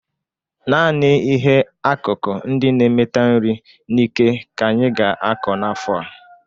Naanị ihe akụkụ ndị na-emeta nri n'íkè ka anyị ga-akọ n'afọ a.